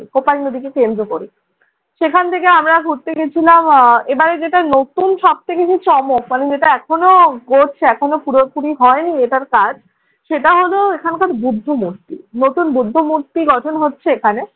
কোপাই নদীকে কেন্দ্র করে। সেখান থেকে আমরা ঘুরতে গিয়েছিলাম আহ এবারে যেটা নতুন সব থেকে চমক মানে যেটা এখনো গড়ছে, এখনো পুরোপুরি হয়নি এটার কাজ। সেটা হল এখানকার বৌদ্ধ মূর্তি। নতুন বৌদ্ধ মূর্তি গঠন হচ্ছে এখানে।